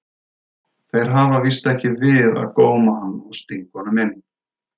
Þeir hafa víst ekki við að góma hann og stinga honum inn.